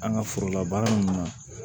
An ka forolabaara ninnu